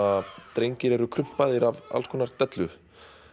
drengir eru af alls konar dellu